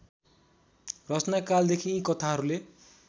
रचनाकालदेखि यी कथाहरूले